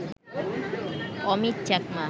Amit Chakma